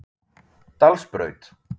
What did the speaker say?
Dalsbraut